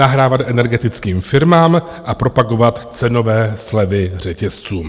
Nahrávat energetickým firmám a propagovat cenové slevy řetězců.